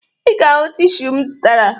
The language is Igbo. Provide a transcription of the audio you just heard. Ị ga-ahụ tishu m zụtara